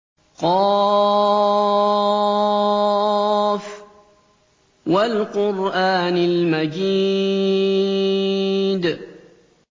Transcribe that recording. ق ۚ وَالْقُرْآنِ الْمَجِيدِ